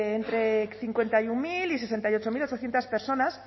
de entre cincuenta y uno mil y sesenta y ocho mil ochocientos personas